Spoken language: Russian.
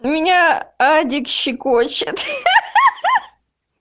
меня адик щекочет ха-ха-ха